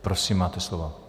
Prosím, máte slovo.